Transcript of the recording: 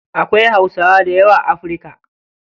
Akwai hausawa dayawa a afirka.